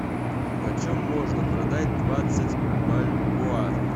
почем можно продать двадцать бальбоа